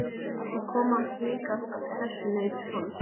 Það kom hik á sessunaut hans.